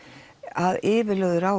að yfirlögðu ráði